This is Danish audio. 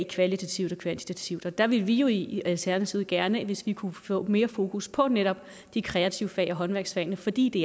kvalitativt og kvantitativt og der ville vi jo i alternativet gerne hvis man kunne få mere fokus på netop de kreative fag håndværksfagene fordi det